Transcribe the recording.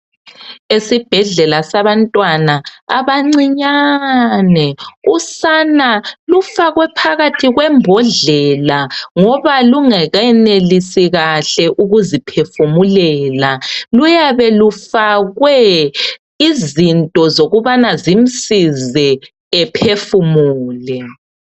Esibhedlela sabantwana abancinyane usana lufakwe phakathi kwembodlela ngoba lungenelisi kahle ukuzi phefumulela luyabe lufakwe izinto zokubana zimsize ephefumule.